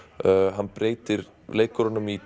hann breytir leikurunum í